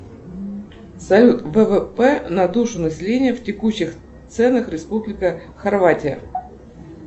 салют ввп на душу населения в текущих ценах республика хорватия